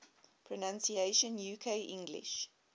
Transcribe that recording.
pronunciations uk english